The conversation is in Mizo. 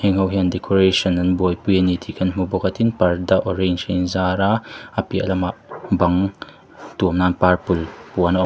heng ho hian decoration an buaipui a ni tih kan hmu bawk a tin parda orange a inzar a a piah lamah bang tuamna purple puan a awm.